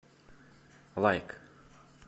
лайк